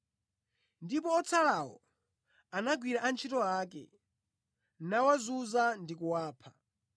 Ndipo otsalawo anagwira antchito ake, nawazunza ndi kuwapha.